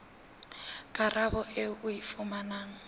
karabo eo o e fumanang